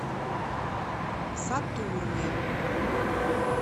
сатурня